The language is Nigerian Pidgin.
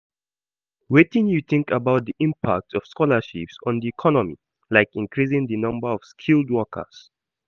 Wetin you think about di impact of scholarships on di economy, like increasing di number of skilled workers?